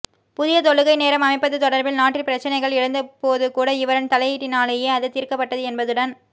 புதிய தொழுகை நேரம் அமைப்பது தொடர்பில் நாட்டில் பிரச்சினைகள் எழுந்த போதுகூட இவரின் தலையீட்டினாலேயே அது தீர்க்கப்பட்டது என்பதுடன்